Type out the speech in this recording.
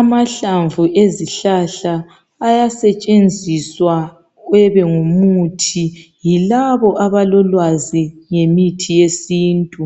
Amahlamvu ezihlahla ayasetshenziswa ube ngumuthi yilabo abalolwazi ngemithi yesintu.